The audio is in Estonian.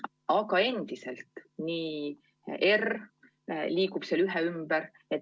Aga endiselt liigub R seal 1 ümber.